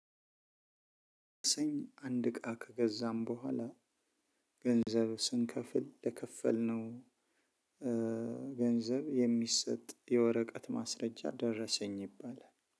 አንድ እቃ ከገዛን በኋላ ገንዘብ ስንከፍል ለከፈልነው ገንዘብ የሚሰጥ የወረቀት ማስረጃ ደረሰኝ ይባላል።